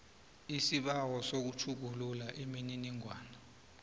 isibawo sokutjhugulula imininingwana